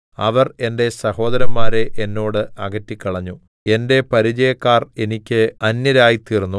അവർ എന്റെ സഹോദരന്മാരെ എന്നോട് അകറ്റിക്കളഞ്ഞു എന്റെ പരിചയക്കാർ എനിക്ക് അന്യരായിത്തീർന്നു